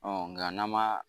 nka n'an ma